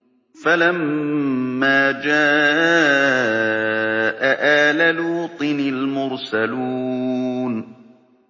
فَلَمَّا جَاءَ آلَ لُوطٍ الْمُرْسَلُونَ